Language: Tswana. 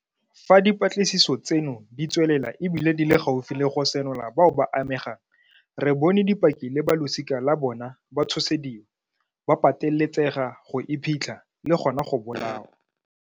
Fa dipatlisiso tseno di tswelela e bile di le gaufi le go senola bao ba amegang, re bone dipaki le balosika la bona ba tshosediwa, ba pateletsega go iphitlha, le gona go bolawa.